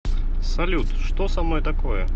салют что со мной такое